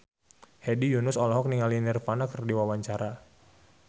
Hedi Yunus olohok ningali Nirvana keur diwawancara